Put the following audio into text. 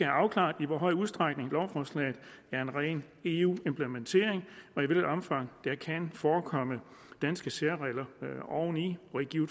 afklaret i hvor høj udstrækning lovforslaget er en ren eu implementering og i hvilket omfang der kan forekomme danske særregler oveni